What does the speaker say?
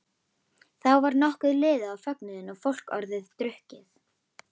Þá var nokkuð liðið á fögnuðinn og fólk orðið drukkið.